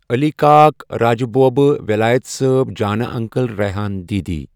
علی کاک، راجہٕ بوبہٕ ،وٮ۪لایت صٲب، جانہٕ انکل ،ریٚحان دیدی